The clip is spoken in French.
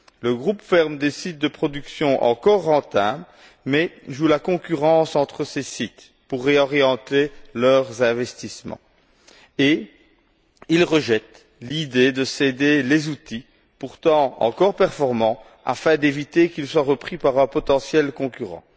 Le groupe ferme des sites de production encore rentables mais fait jouer la concurrence entre ces sites pour réorienter leurs investissements et il rejette l'idée de céder les outils, pourtant encore performants, afin d'éviter qu'ils soient repris par un potentiel concurrent.